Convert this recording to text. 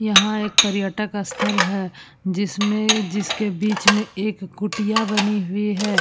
यहाँ एक पर्यटक स्थल है जिसमें जिसके बीच में एक कुटिया बनी हुई है।